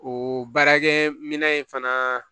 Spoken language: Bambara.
O baarakɛminɛn in fana